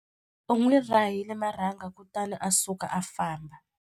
U n'wi rahile marhanga kutani a suka a famba.